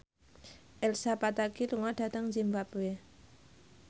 Elsa Pataky lunga dhateng zimbabwe